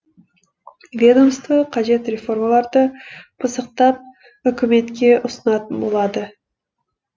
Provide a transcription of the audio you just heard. ведомство қажет реформаларды пысықтап үкіметке ұсынатын болады